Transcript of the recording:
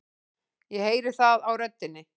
Ég heyri það á röddinni.